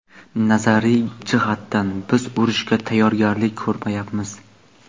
Nazariy jihatdan biz urushga tayyorgarlik ko‘rmayapmiz.